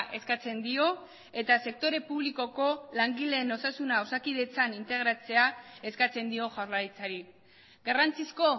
eskatzen dio eta sektore publikoko langileen osasuna osakidetzan integratzea eskatzen dio jaurlaritzari garrantzizko